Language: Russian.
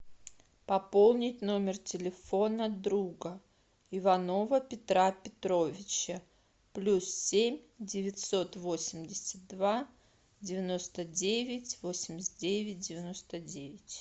пополнить номер телефона друга иванова петра петровича плюс семь девятьсот восемьдесят два девяносто девять восемьдесят девять девяносто девять